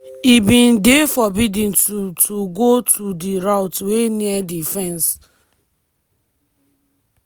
e bin dey forbidden to to go to di route wey near di fence."